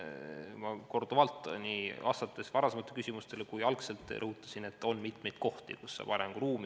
Ma olen varasematele küsimustele vastates korduvalt rõhutanud, et on mitmeid kohti, kus on arenguruumi.